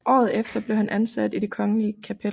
Året efter blev han ansat i Det Kongelige Kapel